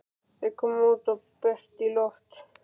Þeir komu út undir bert loft.